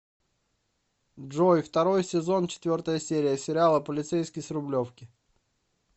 джой второй сезон четвертая серия сериала полицейский с рублевки